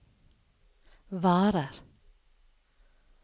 varer